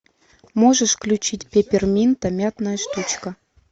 можешь включить пепперминта мятная штучка